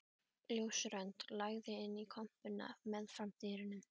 Ljósrönd lagði inn í kompuna meðfram dyrunum.